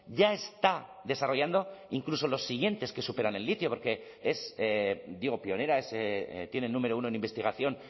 ya está desarrollando incluso los siguientes que superan el litio porque es digo pionera tienen número uno en investigación